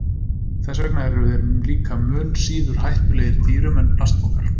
Þess vegna eru þeir líka mun síður hættulegir dýrum en plastpokar.